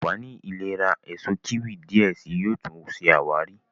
ànfàní ìlera Èso kíwì diẹ síi yóò tún ṣe àwárí.